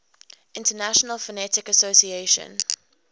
international phonetic association